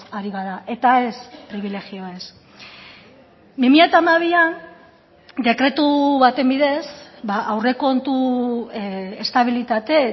ari gara eta ez pribilegioez bi mila hamabian dekretu baten bidez aurrekontu estabilitate